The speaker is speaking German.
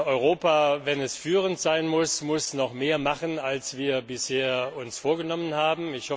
Europa, wenn es führend sein will, muss noch mehr machen, als wir uns bisher vorgenommen haben.